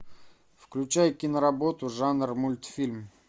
включай киноработу жанр мультфильм